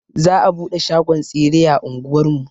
Za a buɗe shagon tsire a anguwar mu.